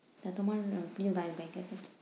তা তোমার প্রিয় গায়ক, গায়িকা কে?